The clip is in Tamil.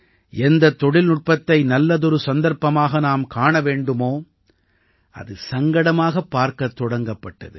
எந்தத் தொழில்நுட்பத்தை நல்லதொரு சந்தர்ப்பமாக நாம் காண வேண்டுமோ அது சங்கடமாகப் பார்க்கத் தொடங்கப்பட்டது